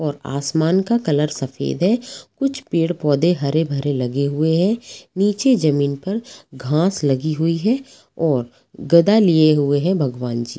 और आसमान का कलर सफेद है कुछ पेड़ पौधे हरे-भरे लगे हुए हैं नीचे जमीन पर घास लगी हुई है और गदा लिए हुए हैं भगवानजी।